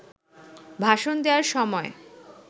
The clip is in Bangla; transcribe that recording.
ভাষণ দেওয়ার সময়